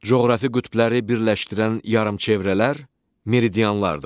Coğrafi qütbləri birləşdirən yarımçevrələr meridianlardır.